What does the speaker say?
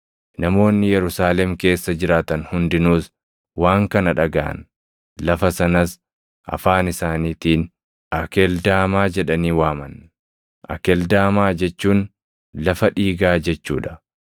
Namoonni Yerusaalem keessa jiraatan hundinuus waan kana dhagaʼan; lafa sanas afaan isaaniitiin Akeldaamaa jedhanii waaman. Akeldaamaa jechuun “Lafa Dhiigaa” jechuu dha.